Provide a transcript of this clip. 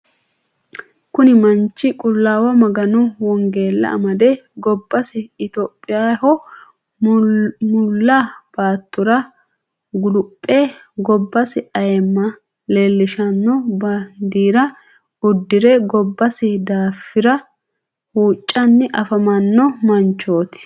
kuni manchi qulaawa maganu wongella amade gobbasi itophiyaho mulla baatora guluphe gobbasi ayimma leelishsnno baandira uddire gobbasi daafira huucanni afamanno manchoti.